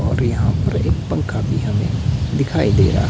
और यहां पर एक पंखा भी हमें दिखाई दे रहा--